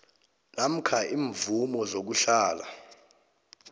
namkha iimvumo zokuhlala